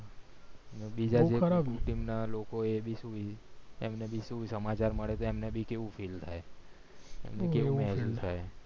મોદી સયબે તેમના લોકો એ ભી એમને ભી સમાચાર મળ્યા એમને ભી કેવું feel થાય કેવું feel થાય